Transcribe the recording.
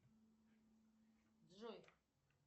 джой